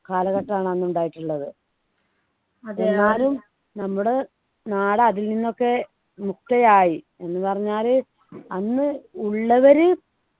കാലഘട്ടമാണ് അന്ന് ഉണ്ടായിട്ടുള്ളത് എന്നാലും നമ്മുടെ നാട് അതിൽ നിന്നൊക്കെ മുക്തയായി എന്ന് പറഞ്ഞാല് അന്ന് ഉള്ളവര്